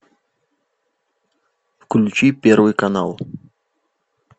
включи первый канал